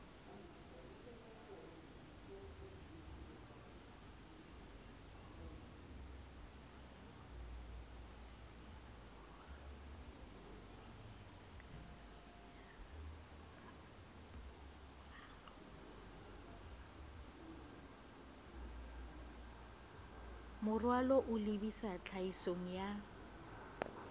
moralo o lebisa tlhahisong ya